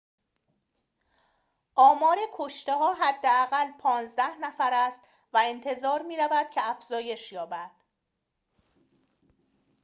آمار کشته‌ها حداقل ۱۵ نفر است و انتظار می‌رود که افزایش یابد